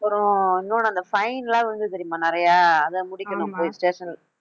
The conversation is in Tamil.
அப்புறம் இன்னொன்னு அந்த fine எல்லாம் விழுந்தது தெரியுமா நிறைய அதை முடிக்கணும் போய் station